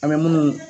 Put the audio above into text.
An bɛ munnu